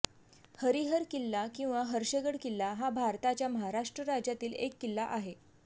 हरिहर किल्ला किंवा हर्षगड किल्ला हा भारताच्या महाराष्ट्र राज्यातील एक किल्ला आहे